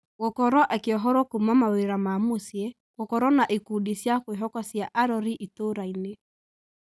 Gũkorwo akĩohorwo kuuma mawĩra ma mũciĩ, gũkorwo na ikundi cia kwĩhoka cia arori itũrainĩ